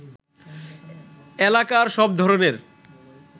এলাকার সব ধরণের